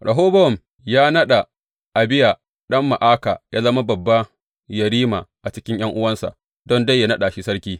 Rehobowam ya naɗa Abiya ɗan Ma’aka yă zama babba yerima a cikin ’yan’uwansa, don dai yă naɗa shi sarki.